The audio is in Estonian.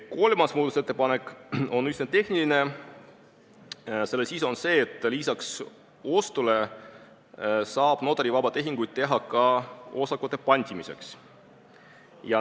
Kolmas muudatusettepanek on üsna tehniline, selle sisuks on see, et lisaks ostule saab notarivabu tehinguid teha ka osakute pantimiseks.